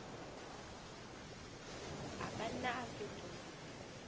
a ka nna a fetoha